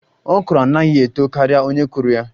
Okro anaghi eto karia onye kụrụ ya